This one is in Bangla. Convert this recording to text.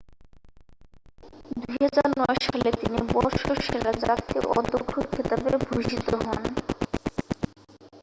2009 সালে তিনি বর্ষসেরা জাতীয় অধ্যক্ষ খেতাবে ভূষিত হন